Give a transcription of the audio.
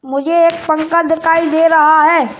मुझे एक पंखा दिखाई दे रहा है।